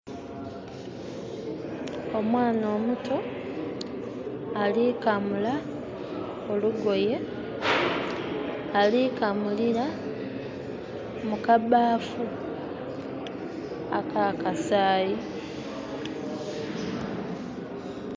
Omwaana omuto, ali kamula olugoye, alikamulira mukabaafu aka kasayi.